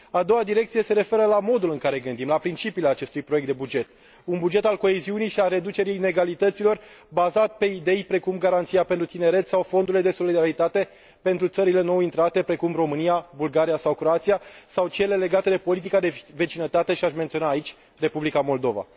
A doua direcție se referă la modul în care gândim, la principiile acestui proiect de buget, un buget al coeziunii și al reducerii inegalităților, bazat pe idei precum Garanția pentru tineret sau fondurile de solidaritate pentru țările nou intrate, precum România, Bulgaria sau Croația, sau cele legate de politica de vecinătate și aș menționa aici Republica Moldova.